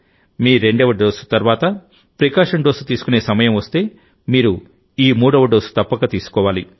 మీ రెండవ డోసు తర్వాత precaution dose తీసుకునే సమయం వస్తే మీరు ఈ మూడవ డోసుతప్పక తీసుకోవాలి